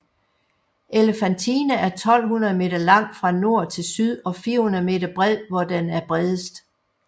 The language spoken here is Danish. Elefantine er 1200 meter lang fra nord til syd og 400 meter bred hvor den er bredest